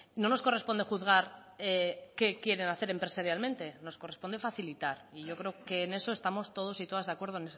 no nos corresponde juzgar qué quieren hacer empresarialmente nos corresponde facilitar y yo creo que en eso estamos todos y todas de acuerdo